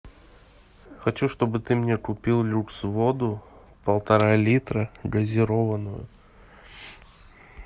хочу чтобы ты мне купил люкс воду полтора литра газированную